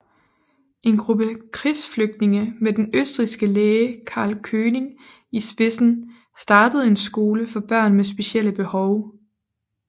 En gruppe krigsflygtninge med den østrigske læge Karl König i spidsen startede en skole for børn med specielle behov